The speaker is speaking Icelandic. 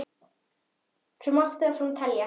Svo má áfram telja.